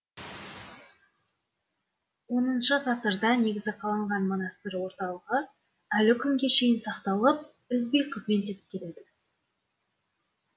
оныншы ғасырда негізі қаланған монастыр орталығы әлі күнге шейін сақталып үзбей қызмет етіп келеді